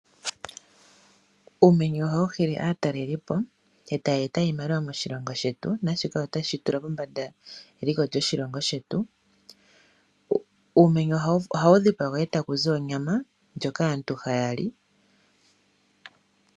Uumenye ohawu hili aatalelipo, e taya eta iimaliwa moshilongo shetu naashika otashi tula pombanda eliko lyoshilongo shetu. Uumenye ohawu dhipagwa e taku zi onyama ndjoka aantu haya li.